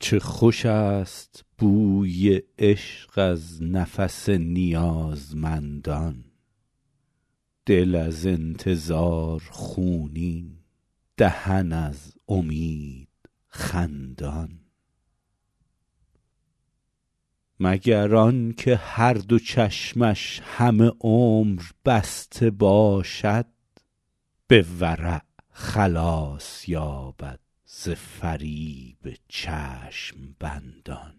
چه خوش است بوی عشق از نفس نیازمندان دل از انتظار خونین دهن از امید خندان مگر آن که هر دو چشمش همه عمر بسته باشد به ورع خلاص یابد ز فریب چشم بندان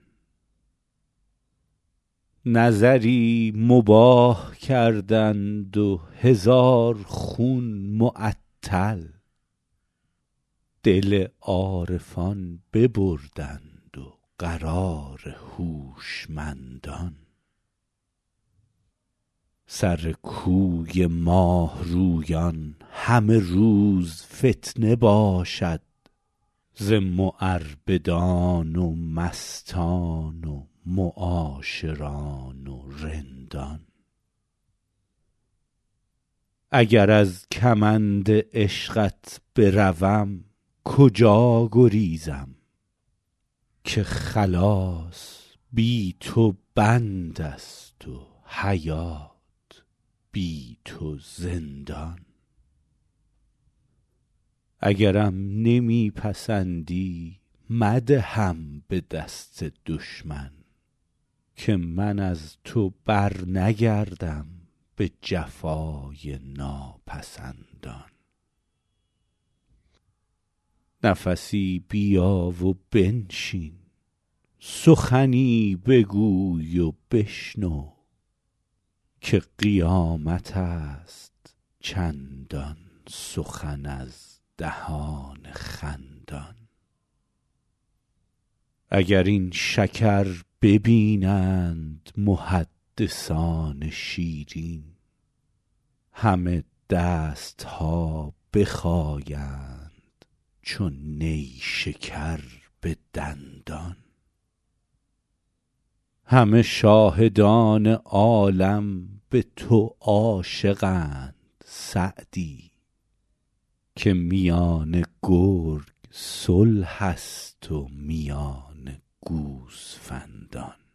نظری مباح کردند و هزار خون معطل دل عارفان ببردند و قرار هوشمندان سر کوی ماه رویان همه روز فتنه باشد ز معربدان و مستان و معاشران و رندان اگر از کمند عشقت بروم کجا گریزم که خلاص بی تو بند است و حیات بی تو زندان اگرم نمی پسندی مدهم به دست دشمن که من از تو برنگردم به جفای ناپسندان نفسی بیا و بنشین سخنی بگوی و بشنو که قیامت است چندان سخن از دهان خندان اگر این شکر ببینند محدثان شیرین همه دست ها بخایند چو نیشکر به دندان همه شاهدان عالم به تو عاشقند سعدی که میان گرگ صلح است و میان گوسفندان